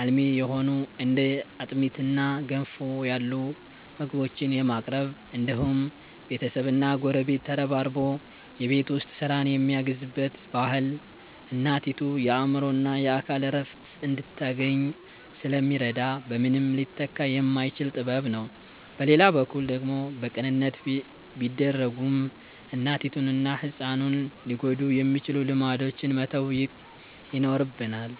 አልሚ የሆኑ እንደ አጥሚትና ገንፎ ያሉ ምግቦችን የማቅረብ እንዲሁም ቤተሰብና ጎረቤት ተረባርቦ የቤት ውስጥ ስራን የሚያግዝበት ባህል እናቲቱ የአእምሮና የአካል እረፍት እንድታገኝ ስለሚረዳ በምንም ሊተካ የማይችል ጥበብ ነው። በሌላ በኩል ደግሞ በቅንነት ቢደረጉም እናቲቱንና ህፃኑን ሊጎዱ የሚችሉ ልማዶችን መተው ይኖርብናል።